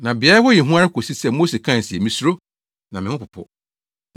Na beae hɔ yɛ hu ara kosii sɛ Mose kae se. “Misuro, na me ho popo.”